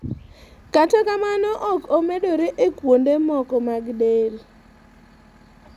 kata kamano ok omedore e kuonde moko mag del